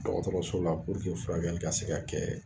Dɔgɔtɔrɔso la furakɛli ka se ka kɛɛɛ